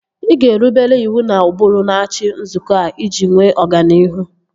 Ị ga-erubere iwu na ụbụrụ n'achị nzukọ a iji nwee ọganihu